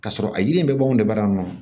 K'a sɔrɔ a yiri in bɛɛ b'anw debalon